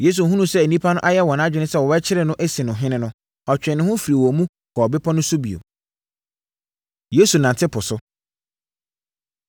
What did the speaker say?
Yesu hunuu sɛ nnipa no ayɛ wɔn adwene sɛ wɔbɛkyere no asi no ɔhene no, ɔtwee ne ho firii wɔn mu kɔɔ bepɔ no so bio. Yesu Nante Po So